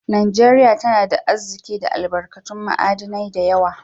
Najeriya tana da Arziki da albarkatun ma'adinai da yawa